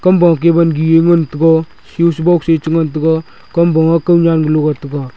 kam wa kahye wangi ye ngan taga switchbox ye chi ngan taga kamwa te konyan galo ga taga.